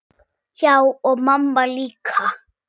Já, og mamma líka.